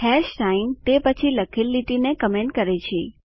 hash sign તે પછી લખેલ લીટીને કમેન્ટ કરે છે